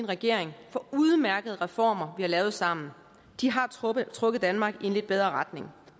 regering for udmærkede reformer vi har lavet sammen de har trukket trukket danmark i en lidt bedre retning